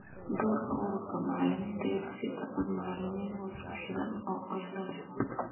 Doorka ururada macalimiinta ee dhisida cod macalimiin oo isku xidhan oo qaylo leh.